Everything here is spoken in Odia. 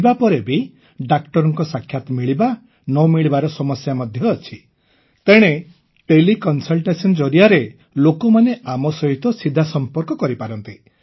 ଯିବାପରେ ବି ଡାକ୍ତରଙ୍କ ସାକ୍ଷାତ ମିଳିବା ନ ମିଳିବାର ସମସ୍ୟା ମଧ୍ୟ ଅଛି ତେଣେ ତେଲେ କନସଲଟେସନ ଜରିଆରେ ଲୋକମାନେ ଆମ ସହିତ ସିଧା ସମ୍ପର୍କ କରିପାରନ୍ତି